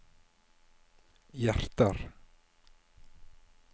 hjerter